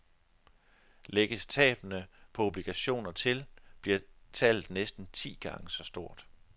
Lægges tabene på obligationer til, bliver tallet næsten ti gange så stort.